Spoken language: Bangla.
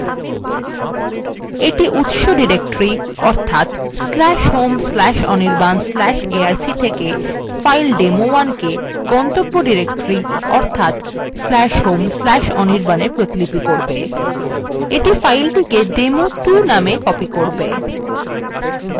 এইটা উত্স directory/home/anirban/arc/থেকে file demo1কে গন্তব্য directory অর্থাৎ/home/anirban a প্রতিপিলি করে এটি ফাইলটিকে demo2 namea copy করবে